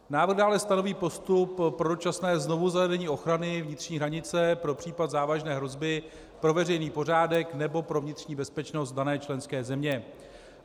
Návrh dále stanoví postup pro dočasné znovuzařazení ochrany vnitřní hranice pro případ závažné hrozby pro veřejný pořádek nebo pro vnitřní bezpečnost dané členské země.